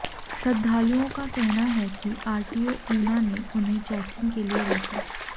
श्रद्धालुओं का कहना है कि आरटीओ ऊना ने उन्हें चैकिंग के लिए रोका